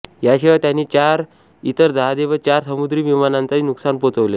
याशिवाय त्यांनी चार इतर जहाजे व चार समुद्री विमानांनाही नुकसान पोचवले